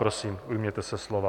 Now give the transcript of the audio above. Prosím, ujměte se slova.